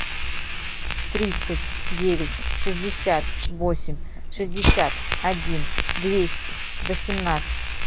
тридцать девять шестьдесят восемь шестьдесят один двести восемнадцать